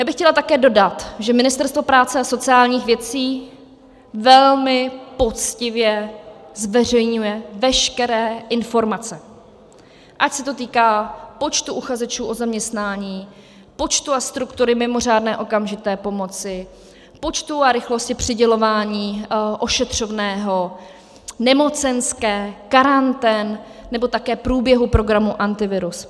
Já bych chtěla také dodat, že Ministerstvo práce a sociálních věcí velmi poctivě zveřejňuje veškeré informace, ať se to týká počtu uchazečů o zaměstnání, počtu a struktury mimořádné okamžité pomoci, počtu a rychlosti přidělování ošetřovného, nemocenské, karantén nebo také průběhu programu Antivirus.